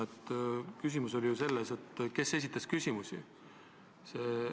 Küsimus oli ju selles, kes esitas küsimusi.